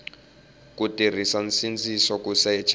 ku tirhisa nsindziso ku secha